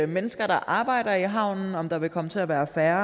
mennesker der arbejder i havnen om der vil komme til at være færre